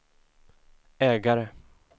ägare